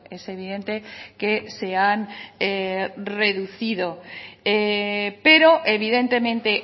es evidente que se han reducido pero evidentemente